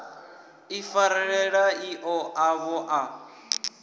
ḓi farelela iṱo ḽavho ḽa